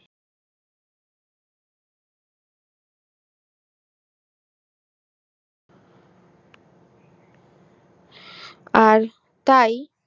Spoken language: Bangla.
আর তাই